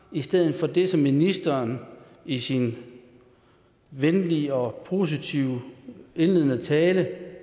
i stedet for det som ministeren i sin venlige og positive indledende tale